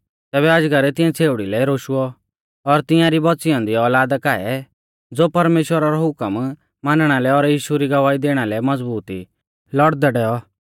तैबै अजगर तिऐं छ़ेउड़ी लै रोशुऔ और तिंआरी बौच़ी ऐन्दी औलादा काऐ ज़ो परमेश्‍वरा रौ हुकम मानणा लै और यीशु री गवाही दैणा लै मज़बूत ई लौड़दै डैऔ